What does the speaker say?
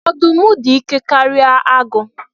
Ọdụm dị ike karịa agụ